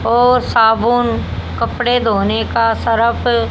और साबुन कपड़े धोने का सरफ--